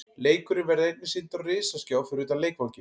Leikurinn verður einnig sýndur á risaskjá fyrir utan leikvanginn.